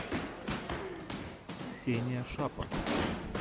ксения шапор